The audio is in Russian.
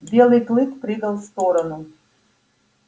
белый клык прыгал в сторону